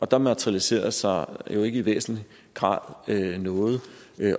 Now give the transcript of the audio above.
da materialiserede sig jo ikke i væsentlig grad noget